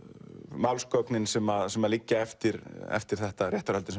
málsgögnin sem sem liggja eftir eftir þetta eða réttarhöldin